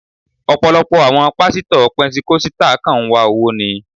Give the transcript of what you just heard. Ọ̀pọ̀lọpọ̀ àwọn Pásítọ̀ pẹntíkọ́sítà kàn ń wá owó ni.